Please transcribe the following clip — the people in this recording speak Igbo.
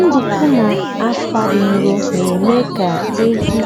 nduku na akwa dị nro na-eme ka ehi